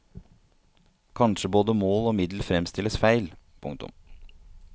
Kanskje både mål og middel fremstilles feil. punktum